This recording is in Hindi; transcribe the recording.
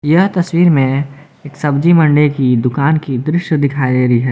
यह तस्वीर में एक सब्जी मंडी की दुकान की दृश्य दिखाई दे रही है।